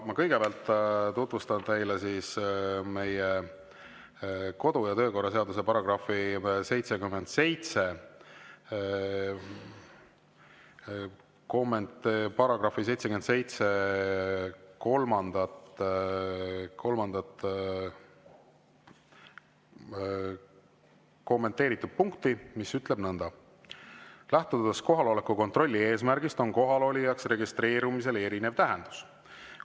Ma kõigepealt tutvustan teile meie kodu- ja töökorra seaduse § 77 kolmandat kommenteeritud punkti, mis ütleb nõnda: "Lähtudes kohaloleku kontrolli eesmärgist, on kohalolijaks registreerumisel erinev tähendus.